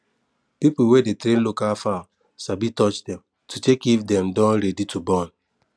people wey dey train local fowl sabi touch dem to check if dem don ready to born